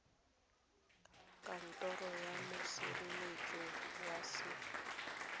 kantoro ya mosireletsi wa set